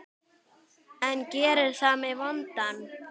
En gerir það mig vondan?